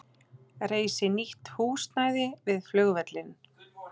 Reisi nýtt húsnæði við flugvöllinn